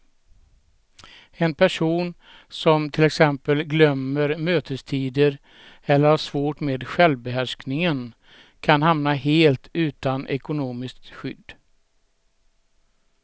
En person som till exempel glömmer mötestider eller har svårt med självbehärskningen kan hamna helt utan ekonomiskt skydd.